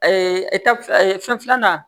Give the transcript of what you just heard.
fɛn filanan